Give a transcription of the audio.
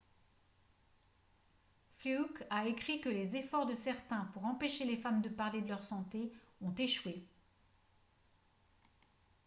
fluke a écrit que les efforts de certains pour empêcher les femmes de parler de leur santé ont échoué